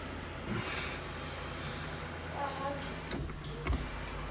ka ha ke se ke